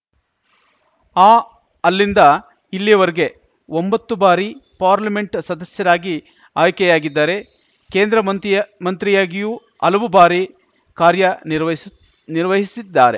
ಅ ಅಲ್ಲಿಂದ ಇಲ್ಲಿಯವರೆಗೆ ಒಂಬತ್ತು ಬಾರಿ ಪಾರ್ಲಿಮೆಂಟ್‌ ಸದಸ್ಯರಾಗಿ ಆಯ್ಕೆಯಾಗಿದ್ದಾರೆ ಕೇಂದ್ರ ಮಂತ್ರಿ ಮಂತ್ರಿಯಾಗಿಯೂ ಹಲವು ಬಾರಿ ಕಾರ್ಯನಿರ್ವಹಿಸಿ ಕಾರ್ಯನಿರ್ವಹಿಸಿದ್ದಾರೆ